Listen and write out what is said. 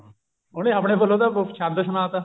ਉਹਨੇ ਆਪਦੇ ਵੱਲੋਂ ਤਾਂ ਸ਼ੰਦ ਸੁਨਾਤਾ